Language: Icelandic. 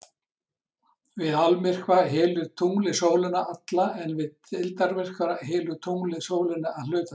Við almyrkva hylur tunglið sólina alla en við deildarmyrkva hylur tunglið sólina að hluta til.